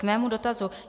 K mému dotazu.